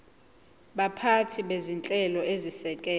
baphathi bezinhlelo ezisekela